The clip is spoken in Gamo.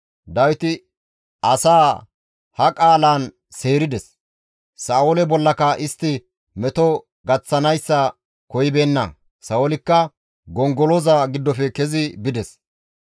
Dawiti asaa ha qaalan seerides; Sa7oole bollaka istti meto gaththanayssa koyibeenna; Sa7oolikka gongoloza giddofe kezi bides.